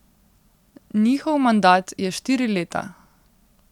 Njihov mandat je štiri leta.